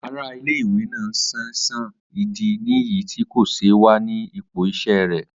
Ara ile-iwe naa n ṣaisan, idi niyi ti ko ṣe wa ni ipo iṣẹ rẹ.